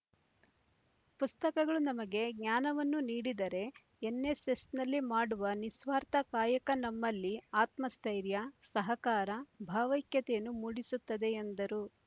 ಪುಸ್ತಕಗಳು ನಮಗೆ ಜ್ಞಾನವನ್ನು ನೀಡಿದರೆ ಎನ್‌ಎಸ್‌ಎಸ್‌ನಲ್ಲಿ ಮಾಡುವ ನಿಸ್ವಾರ್ಥ ಕಾಯಕ ನಮ್ಮಲ್ಲಿ ಆತ್ಮಸ್ಥೈರ್ಯ ಸಹಕಾರ ಭಾವೈಕ್ಯತೆಯನ್ನು ಮೂಡಿಸುತ್ತದೆ ಎಂದರು